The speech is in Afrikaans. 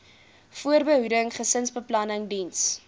voorbehoeding gesinsbeplanning diens